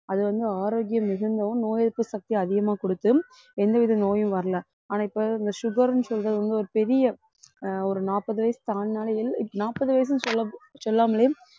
அது வந்து ஆரோக்கியம் மிகுந்தவும் நோய் எதிர்ப்பு சக்தியை அதிகமாக கொடுத்து எந்தவித நோயும் வரலை ஆனா இப்ப இந்த sugar ன்னு சொல்றது வந்து ஒரு பெரிய ஆஹ் ஒரு நாற்பது வயசு தாண்டினாலே எல்~ நாற்பது வயசுன்னு சொல்ல~ சொல்லாமலே